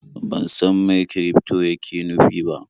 Ban san mai kirifto yake nufi ba.